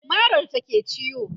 marar ta ke ciwo